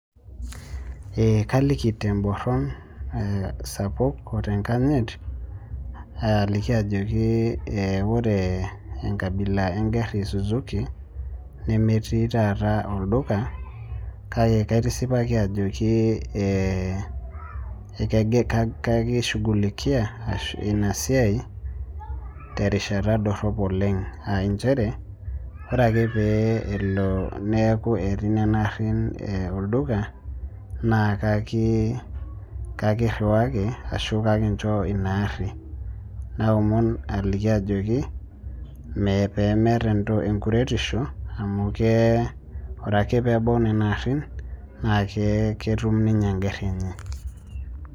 Ee kaliki emborron sapuk otenkanyit aliki ajoki ore enkabila engari esusuki, nemetii taata olduka kake kaitisipaki ajoki ee ekishugulikia ina sias terishata dorop oleng', aa injere ore ake pee elo netii nena garin olduka naa kakiriwaki ashu naa ekinjo ina ari. Naomon aliki ajoki pee meeta enkuretisho amu ore ake peebau nena arin naaketum ninye engari enye.